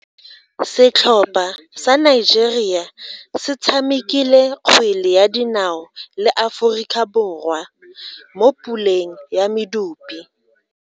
Setlhopha sa Nigeria se tshamekile kgwele ya dinao le Aforika Borwa mo puleng ya medupe.